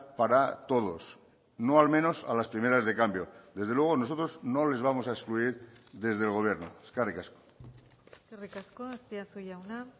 para todos no al menos a las primeras de cambio desde luego nosotros no les vamos a excluir desde el gobierno eskerrik asko eskerrik asko azpiazu jauna